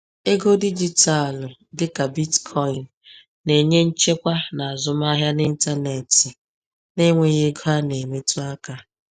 Ego dijitalụ dịka Bitcoin na-enye nchekwa n’azụmahịa n’ịntanetị na-enweghị ego a na-emetụ aka.